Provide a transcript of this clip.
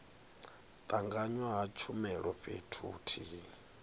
tanganywa ha tshumelo fhethu huthihi